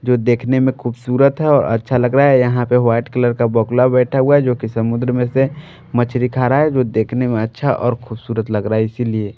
जो देखने में खूबसूरत है और अच्छा लग रहा है यहां पे वाइट कलर का बगूला बैठा हुआ है जो कि समुद्र में से मछली खा रहा है जो देखने में अच्छा और खूबसूरत लग रहा है इसीलिए।